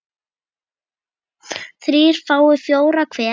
þrír fái fjóra hver